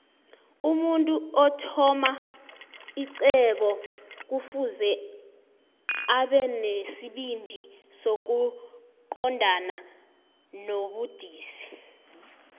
vmuntu othama ixhwebo kufuze abenesibindi sokoqobna nobudisi